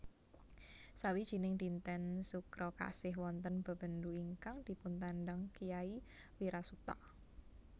Sawijining dinten Sukra Kasih wonten bebendu ingkang dipuntandang Kyai Wirasuta